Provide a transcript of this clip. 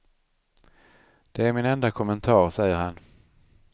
Det är min enda kommentar, säger han.